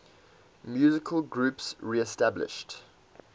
musical groups reestablished